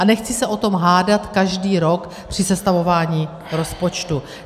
A nechci se o tom hádat každý rok při sestavování rozpočtu.